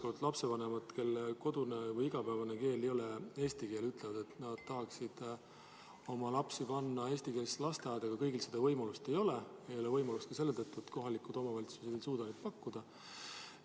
Osa lapsevanemaid, kelle kodune või igapäevane keel ei ole eesti keel, ütlevad, et nad tahaksid oma lapsi panna eestikeelsesse lasteaeda, aga seda võimalust ei ole, ka selle tõttu, et kohalikud omavalitsused ei suuda seda pakkuda.